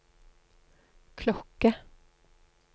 klokke